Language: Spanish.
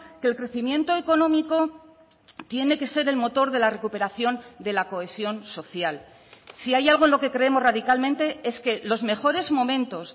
que el crecimiento económico tiene que ser el motor de la recuperación de la cohesión social si hay algo en lo que creemos radicalmente es que los mejores momentos